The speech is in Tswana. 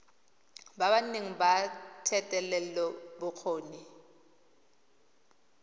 ba ba nang le thetelelobokgoni